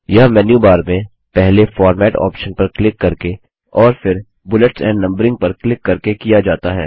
यह menu bar में पहले फॉर्मेट ऑप्शन पर क्लिक करके और फिर बुलेट्स एंड नंबरिंग पर क्लिक करके किया जाता है